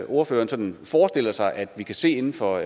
ordføreren sådan forestiller sig at vi kan se inden for